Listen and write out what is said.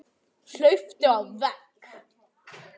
Hlaupið á vegg